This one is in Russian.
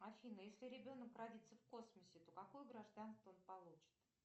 афина если ребенок родится в космосе то какое гражданство он получит